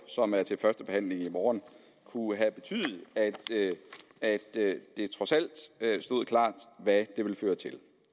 som er til første behandling i morgen kunne have betydet at det trods alt stod klart hvad det ville føre til